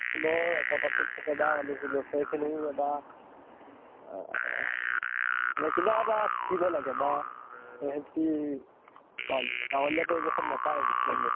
তোমাৰ একতাটো থাকে বা লʼ ছোৱালী খিনি এটা আহ মানে কিবা এটা শিকিব লাগে বা সেহেঁতি গাঁৱলীয়া পৰিবেশত নেপায় কিছুমান বস্তু